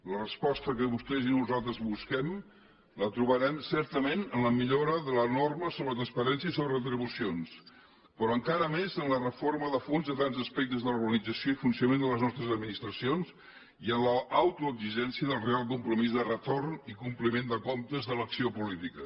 la resposta que vostès i nosaltres busquem la trobarem certament en la millora de la norma sobre la transparència i sobre retribucions però encara més en la reforma de fons de tants aspectes de l’organització i funcionament de les nostres administracions i en l’autoexigència del real compromís de retorn i compliment de comptes de l’acció política